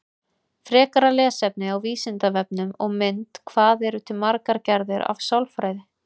Frekara lesefni á Vísindavefnum og mynd Hvað eru til margar gerðir af sálfræði?